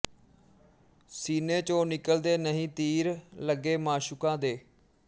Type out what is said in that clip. ਸੀਨੇ ਚੋਂ ਨਿਕਲ਼ਦੇ ਨਹੀਂ ਤੀਰ ਲੱਗੇ ਮਾਸ਼ੂਕਾਂ ਦੇ